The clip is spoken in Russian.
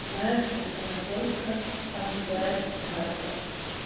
знаешь что вот она только ожидает старта